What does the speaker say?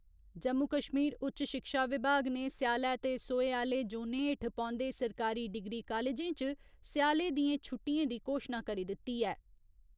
जम्मू कश्मीर उच्च शिक्षा विभाग ने स्यालै ते सोहे आह्‌ले जोनें हेठ पौन्दे सरकारी डिग्री कालजें च स्याले दियें छुट्टिएं दी घोशना करी दिती ऐ।